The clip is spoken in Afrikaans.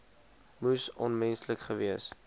moes onmenslik gewees